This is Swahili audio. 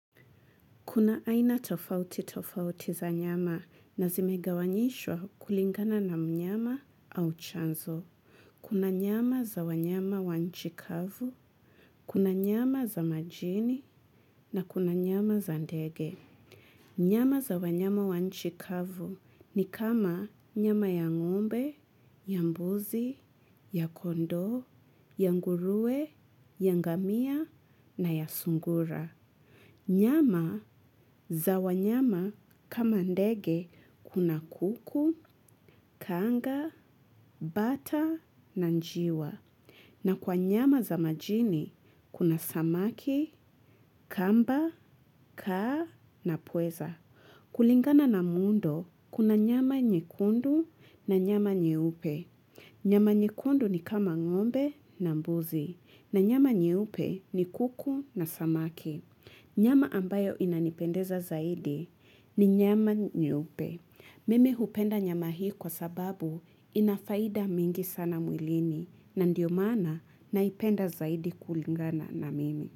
Kuna aina tofauti tofauti za nyama na zimegawanyishwa kulingana na mnyama au chanzo. Kuna nyama za wanyama wa nchi kavu, kuna nyama za majini na kuna nyama za ndege. Nyama za wanyama wa nchi kavu ni kama nyama ya ng'ombe, ya mbuzi, ya kondoo, ya nguruwe, ya ngamia na ya sungura. Nyama za wanyama kama ndege kuna kuku, kanga, bata na njiwa. Na kwa nyama za majini kuna samaki, kamba, kaa na pweza. Kulingana na muundo kuna nyama nyekundu na nyama nyeupe. Nyama nyekundu ni kama ng'ombe na mbuzi na nyama nyeupe ni kuku na samaki. Nyama ambayo inanipendeza zaidi ni nyama nyeupe. Mimi hupenda nyama hii kwa sababu inafaida mingi sana mwilini na ndio mana naipenda zaidi kulingana na mimi.